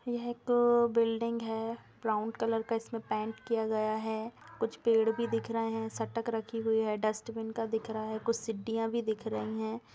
यह एक बिल्डिंग है ब्रॉउन कलर का इसमें पेंट किया गया है कुछ पेड़ भी दिख रहें हैं सटक रखी हुई है डस्टबिन का दिख रहा है कुछ सीढियाँ भी दिख रहीं हैं।